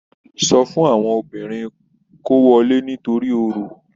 Sọ fún àwọn obìnrin kọ́ wọlé nítorí Orò.